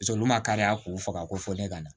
olu ma kari a k'u faga ko fɔ ne ka na